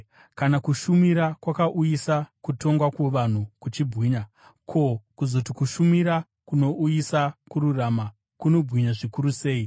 Kana kushumira kwakauyisa kutongwa kuvanhu kuchibwinya, ko, kuzoti kushumira kunouyisa kururama kunobwinya zvikuru sei!